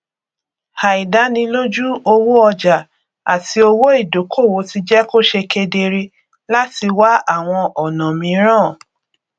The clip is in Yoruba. àìdánilójú owó ọjà àti owó ìdókòwò ti jẹ kó ṣe kedere láti wá àwọn ọnà mìíràn